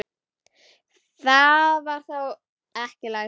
Það var þá ekki læst!